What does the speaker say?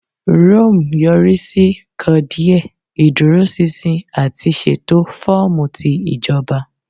Rome yori si kan diẹ idurosinsin ati ṣeto fọọmu ti ijoba.